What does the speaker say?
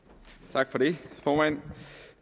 tak for det formand